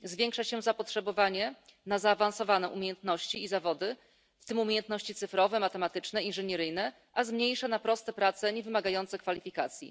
Zwiększa się zapotrzebowanie na zaawansowane umiejętności i zawody, w tym umiejętności cyfrowe, matematyczne, inżynieryjne, a zmniejsza na proste prace niewymagające kwalifikacji.